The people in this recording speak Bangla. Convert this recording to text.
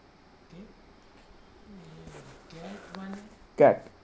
cat